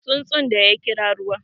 Tsuntsun da ya ƙira ruwa